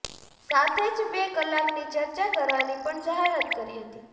સાથે જ બે કલાકની ચર્ચા કરવાની પણ જાહેરાત કરી હતી